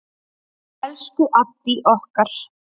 Elsku Addý okkar.